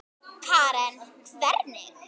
Karen: Hvernig?